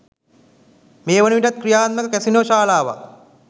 මේ වනවිටත් ක්‍රියාත්මක කැසිනෝ ශාලාවක්